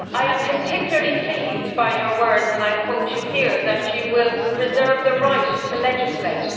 I am particularly pleased by your words, and I quote you here, that you will reserve the right to legislate'.